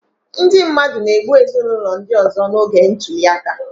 Ndị mmadụ na-egbu ezinụlọ ndị ọzọ n'oge ntuli aka